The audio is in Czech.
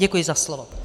Děkuji za slovo.